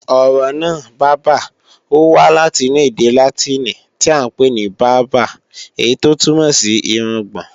Ọ̀rọ̀ náà, bábà, ó wá láti inú ède Látìnì tíì à ń pè ní "barba" èyí tó túmọ̀ sí irungbọ̀n